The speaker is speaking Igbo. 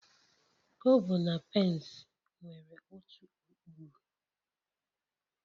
Kobo na pence nwere otu ụkpụrụ